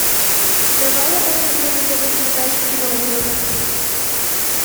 давай я посмотрю на тв передачу киноужас